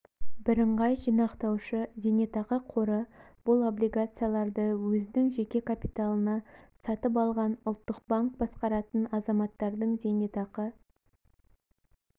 бірыңғай жинақтаушы зейнетақы қоры бұл облигацияларды өзінің жеке капиталына сатып алған ұлттық банк басқаратын азаматтардың зейнетақы